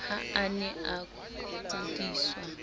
ha a ne a kudiswa